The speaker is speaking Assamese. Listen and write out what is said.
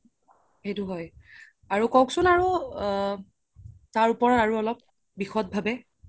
সেইটো হয় ক্'কচোন আৰু আ তাৰওপৰে আৰু অলপ বিসদ ভাবে